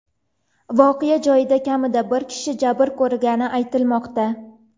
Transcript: Voqea joyida kamida bir kishi jabr ko‘rgani aytilmoqda.